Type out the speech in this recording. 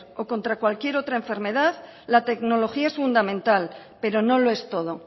o contra cualquier otra enfermedad la tecnología es fundamental pero no lo es todo